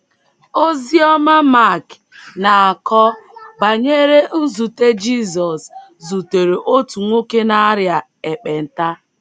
Oziọma Mak na - akọ banyere nzute Jizọs zutere otu nwoke na - arịa ekpenta.